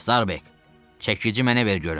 Starbek, çəkici mənə ver görüm.